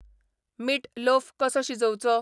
मीट लोऴ कसो शिजोवचो ?